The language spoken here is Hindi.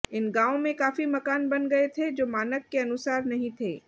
इन गांव में काफी मकान बन गए थे जो मानक के अनुसार नहीं थे